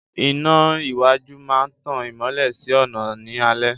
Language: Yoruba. Iná iwájú máa ń tan ìmọ́lẹ̀ sí ọ̀nà ní alẹ́